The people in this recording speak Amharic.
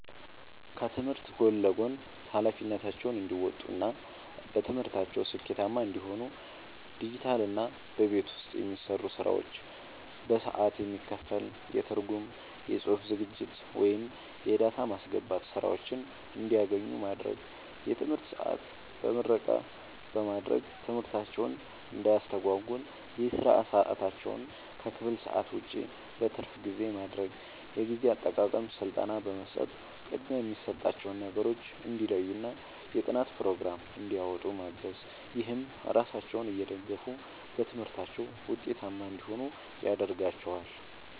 ከትምህርት ጎን ለጎን ኃላፊነታቸውን እንዲወጡ እና በትምህርታቸው ስኬታማ እንዲሆኑ ዲጂታልና በቤት ውስጥ የሚሰሩ ስራዎች በሰዓት የሚከፈል የትርጉም፣ የጽሑፍ ዝግጅት ወይም የዳታ ማስገባት ሥራዎችን እንዲያገኙ ማድረግ። የትምህርት ሰዓት በምረቃ በማድረግ ትምህርታቸውን እንዳያስተጓጉል የሥራ ሰዓታቸውን ከክፍል ሰዓት ውጭ (በትርፍ ጊዜ) ማድረግ። የጊዜ አጠቃቀም ሥልጠና በመስጠት ቅድሚያ የሚሰጣቸውን ነገሮች እንዲለዩና የጥናት ፕሮግራም እንዲያወጡ ማገዝ። ይህም ራሳቸውን እየደገፉ በትምህርታቸው ውጤታማ እንዲሆኑ ያደርጋቸዋል።